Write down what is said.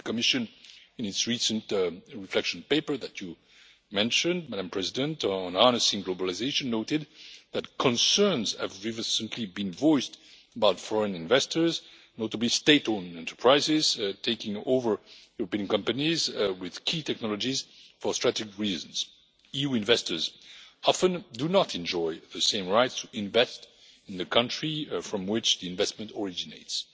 The Commission in its recent reflection paper that you mentioned, Madam President, on harnessing globalisation, noted that concerns have recently been voiced about foreign investors, notably state owned enterprises, taking over European companies with key technologies for strategic reasons. EU investors often do not enjoy the same rights to invest in the country from which the investment originates.